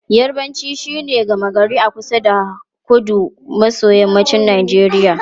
Yarbanci shine harshen gama gari a kusa da kudu maso yammacin Najeriya.